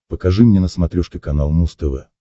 покажи мне на смотрешке канал муз тв